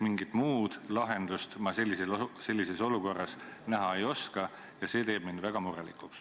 Mingit muud lahendust ma sellises olukorras ei näe ja see teeb mind väga murelikuks.